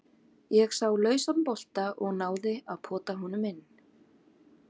Ég sá lausan bolta og náði að pota honum inn.